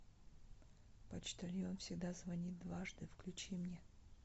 почтальон всегда звонит дважды включи мне